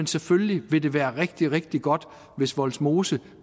selvfølgelig ville det være rigtig rigtig godt hvis vollsmose